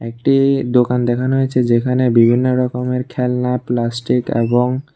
একটি দোকান দেখানো হয়েছে যেখানে বিভিন্ন রকমের খেলনা প্লাস্টিক এবং--